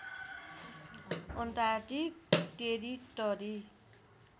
Antarctic territory